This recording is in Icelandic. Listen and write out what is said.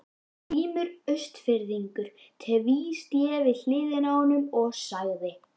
Grímur Austfirðingur tvísté við hliðina á honum og sagði